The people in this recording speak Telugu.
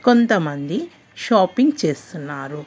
కొంతమంది షాపింగ్ చేస్తున్నారు.